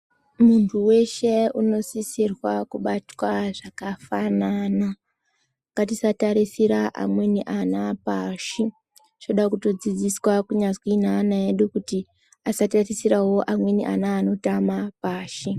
Muntu weshe unosisirwa kubatwa zvakafanana .Ngatisatarisira amweni ana pashi ,tinoda kutodzidziswa kunyazwi neana edu kuti asatarisira amweni ana anotama pashi.